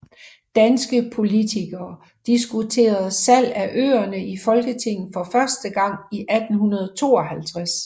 Danske politikere diskuterede salg af øerne i Folketinget for første gang i 1852